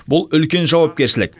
бұл үлкен жауапкершілік